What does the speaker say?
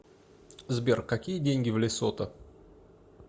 сбер какие деньги в лесото